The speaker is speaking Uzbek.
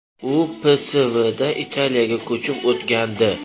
U PSVdan Italiyaga ko‘chib o‘tgandi.